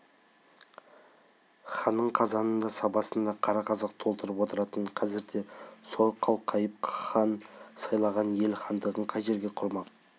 ханның қазанын да сабасын да қара қазақ толтырып отыратын қазір де солай қалқайтып хан сайлаған ел хандығын қай жерге құрмақ